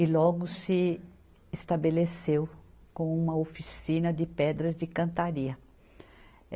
E logo se estabeleceu com uma oficina de pedras de cantaria.